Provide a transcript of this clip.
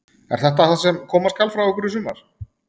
Er þetta það sem koma skal frá ykkur í sumar?